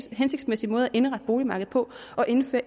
hensigtsmæssig måde at indrette boligmarkedet på at indføre